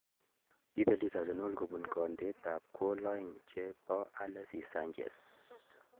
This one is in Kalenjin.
Kiibelis Arsenal kobun kandeetab gol aeng che bo Alexis Sanchez